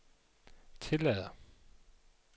tillader